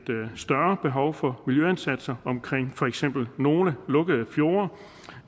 større behov for miljøindsatser omkring for eksempel nogle lukkede fjorde